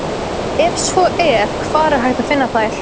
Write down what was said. ef svo er hvar er hægt að finna þær